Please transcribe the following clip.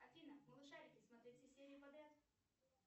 афина малышарики смотреть все серии подряд